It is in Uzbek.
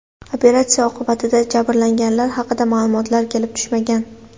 Operatsiya oqibatida jabrlanganlar haqida ma’lumotlar kelib tushmagan.